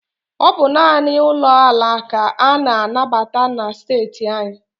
Ọ bụ naanị ụlọ ala ka a na-anabata na esteeti anyị.